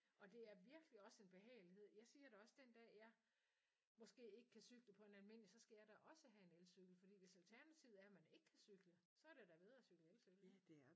Og det er virkelig også en behagelighed. Jeg siger det også den dag jeg måske ikke kan cykle på en almindelig så skal jeg da også have en elcykel fordi hvis alternativet er man ikke kan cykle så er det da bedre at cykle elcykel